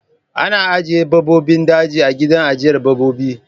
Ana ajjiye babbobin daji a gidan ajjiyar babbobi